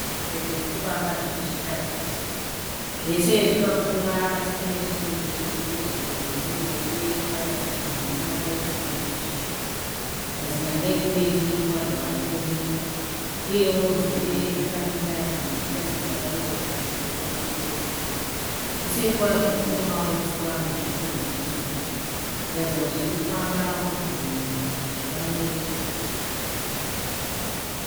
Zvipembere zvirikufamba zviri zvitatatu. Zvese zvakakura asi panechimwe chirikurutivi rwekuruboshwe chakada kuti mhumhu wakaita mudiki zvishoma. Mazinyanga ekumberi kwazvo arikuoneka. Uyewo nzeve dzakamira dzimwe dzichiita sedzakarereka dzichidzokera shure zvishoma. Kuseri kwazvo kunemauswa nezvikwenzi zviripo kuratidza kuti zvirikufamba munzvimbo umu kuti zviwane chekudya.